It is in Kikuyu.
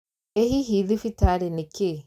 Ĩ hihi thibitarĩ nĩ kĩĩ?